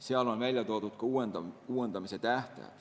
Seal on välja toodud ka uuendamise tähtajad.